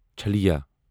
چھلیا